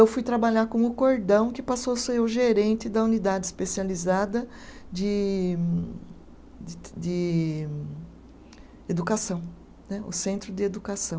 Eu fui trabalhar com o cordão, que passou a ser o gerente da unidade especializada de de de educação né, o centro de educação.